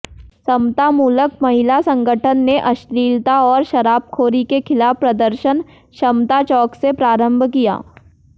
समतामूलक महिला संगठन ने अश्लीलता और शराबखोरी के खिलाफ प्रदर्शन समता चौक से प्रारम्भ किया